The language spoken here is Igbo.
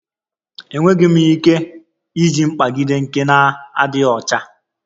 Enweghị m ike iji mkpagide nke na-adịghị ọcha